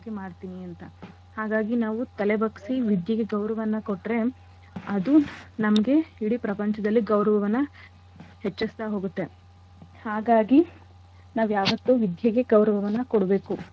ಮಾಡ್ತೀನಿ ಅಂತ ಹಾಗಾಗಿ ನಾವು ತಲೆ ಬಗ್ಸಿ ವಿದ್ಯೆಗೆ ಗೌರವನ ಕೊಟ್ರೆ ಅದು ನಮ್ಗೆ ಇಡೀ ಪ್ರಪಂಚದಲ್ಲಿ ಗೌರವವನ್ನ ಹೆಚ್ಚಿಸ್ತಾ ಹೋಗತ್ತೆ. ಹಾಗಾಗಿ ನಾವು ಯಾವತ್ತೂ ವಿದ್ಯೆಗೆ ಗೌರವವನ್ನ ಕೊಡ್ಬೇಕು.